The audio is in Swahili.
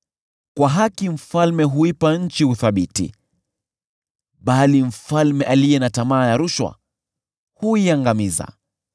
Kwa haki mfalme huipa nchi uthabiti, bali mfalme aliye na tamaa ya rushwa huiangamiza.